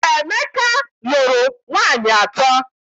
Emeka lụrụ nwaanyị atọ.